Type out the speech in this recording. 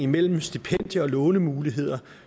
mellem stipendie og lånemuligheder